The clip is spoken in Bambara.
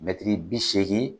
Mɛtiri bi seegin